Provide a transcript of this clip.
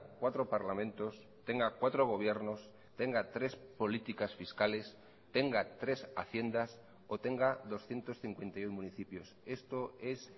cuatro parlamentos tenga cuatro gobiernos tenga tres políticas fiscales tenga tres haciendas o tenga doscientos cincuenta y uno municipios esto es